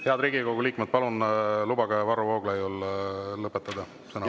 Head Riigikogu liikmed, palun lubage Varro Vooglaiul lõpetada sõnavõtt.